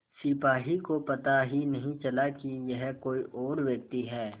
सिपाही को पता ही नहीं चला कि यह कोई और व्यक्ति है